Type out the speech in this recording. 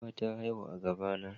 Giwa ta haihu a gaba na